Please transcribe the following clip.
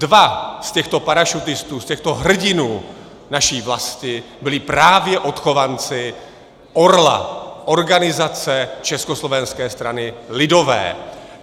Dva z těchto parašutistů, z těchto hrdinů naší vlasti, byli právě odchovanci Orla, organizace Československé strany lidové.